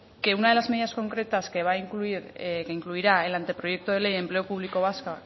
que una de las medidas concretas que incluirá el anteproyecto de ley de empleo público vasca